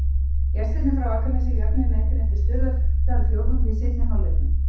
Gestirnir frá Akranesi jöfnuðu metin eftir stundarfjórðung í seinni hálfleiknum.